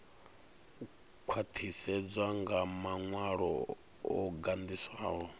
khwaṱhisedzwa nga maṅwalo o gandiswaho